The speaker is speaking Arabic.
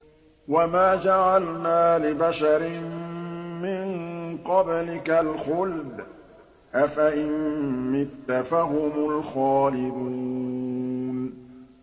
وَمَا جَعَلْنَا لِبَشَرٍ مِّن قَبْلِكَ الْخُلْدَ ۖ أَفَإِن مِّتَّ فَهُمُ الْخَالِدُونَ